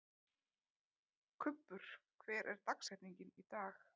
Kubbur, hver er dagsetningin í dag?